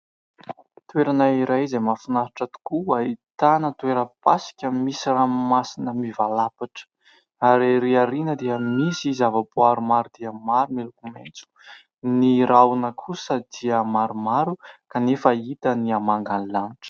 Toerana iray izay mahafinaritra tokoa ahitana tora-pasika, misy ranomasina mivalapatra ary ery aoriana dia misy zava-boaary maro dia maro miloko maitso. Ny rahona kosa dia maromaro kanefa hita ny amangan'ny lanitra.